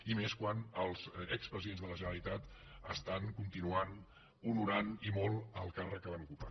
i més quan els expresidents de la generalitat estan continuant honorant i molt el càrrec que van ocupar